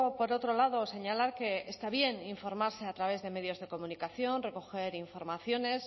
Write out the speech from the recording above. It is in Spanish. por otro lado señalar que está bien informarse a través de medios de comunicación recoger informaciones